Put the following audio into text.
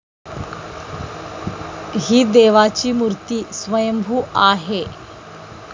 ही देवाची मूर्ती स्वयंभू आहे.